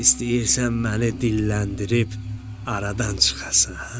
İstəyirsən məni dilləndirib aradan çıxasan?